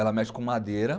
Ela mexe com madeira